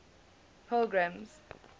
pilgrim's